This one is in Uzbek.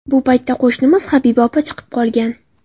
Bu paytda qo‘shnimiz Habiba opa chiqib qolgan.